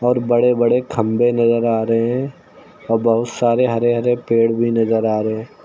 और बड़े बड़े खंभे नजर आ रहे हैं और बहुत सारे हरे हरे पेड़ भी नजर आ रहे हैं।